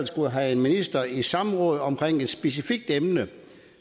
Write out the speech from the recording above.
skulle have en minister i samråd omkring bag et specifikt emne